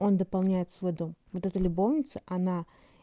он дополняет свой дом вот это любовница она